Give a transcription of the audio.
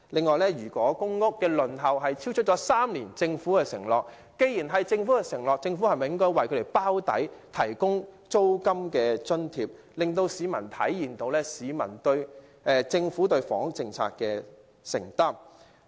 既然公屋輪候時間超出政府的3年承諾，政府理應為輪候者"包底"，提供租金津貼，令市民體現政府對房屋政策的承擔。